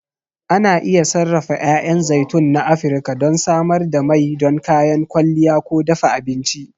Ana iya sarrafa 'ya'yan zaitun na Afirka don samar da mai don kayan kwalliya ko dafa abinci.